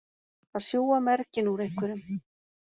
Að sjúga merginn úr einhverjum